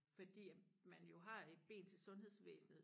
Fordi at man jo har et ben til sundhedsvæsenet